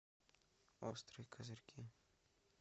острые козырьки